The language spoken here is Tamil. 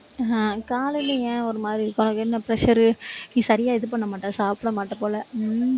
ஆஹ் காலையில ஏன் ஒரு மாதிரி இருக்கு, உனக்கு என்ன pressure நீ சரியா இது பண்ண மாட்ட சாப்பிடமாட்டே போல உம்